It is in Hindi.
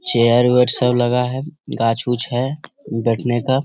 चेयर वेयर सब लगा है गाछ-उछ है बैठने का।